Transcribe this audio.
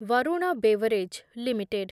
Varun beverage limited